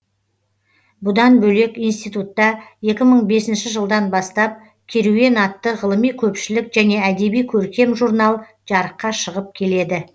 бұдан бөлек институтта екі мың бесінші жылдан бастап керуен атты ғылыми көпшілік және әдеби көркем журнал жарыққа шығып келеді